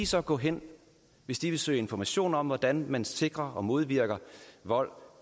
så gå hen hvis de vil søge information om hvordan man sikrer sig og modvirker vold